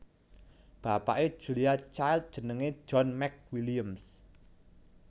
Bapake Julia Child jenenge John McWilliams